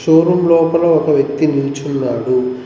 Show room లోపల ఒక వ్యక్తి నిల్చున్నాడు.